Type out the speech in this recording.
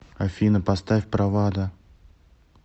афина поставь правада